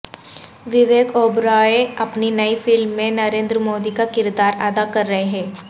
وویک اوبرائے اپنی نئی فلم میں نریندر مودی کا کردار ادا کر رہے ہیں